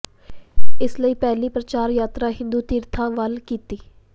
ਇਸ ਲਈ ਪਹਿਲੀ ਪ੍ਰਚਾਰ ਯਾਤਰਾ ਹਿੰਦੂ ਤੀਰਥਾਂ ਵੱਲ ਕੀਤੀ